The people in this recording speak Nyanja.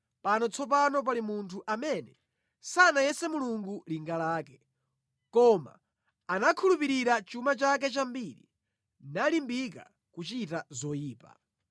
“Pano tsopano pali munthu amene sanayese Mulungu linga lake, koma anakhulupirira chuma chake chambiri nalimbika kuchita zoyipa!”